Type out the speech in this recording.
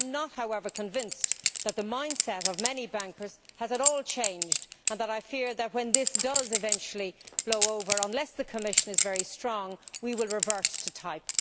I am not, however, convinced that the mindset of many bankers has changed at all and I fear that when this does eventually blow over, unless the Commission is very strong, we will revert to type.